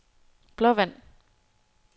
Blåvand